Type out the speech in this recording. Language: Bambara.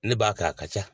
Ne b'a kɛ a ka ca